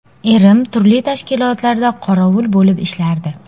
Erim turli tashkilotlarda qorovul bo‘lib ishlardi.